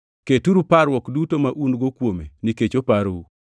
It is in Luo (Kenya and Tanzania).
Keturu parruok duto ma un-go kuome nikech oparou.